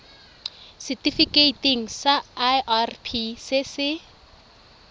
setifikeiting sa irp se se